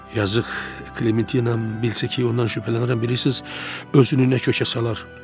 yazıq Qlentina bilsə ki, ondan şübhələnirəm, bilirsiz, özünü nə kökə salar?